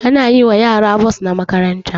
An yi wa yara bons na makaranta